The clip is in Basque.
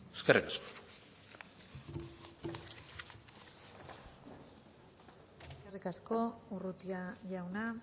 eskerrik asko eskerrik asko urrutia jauna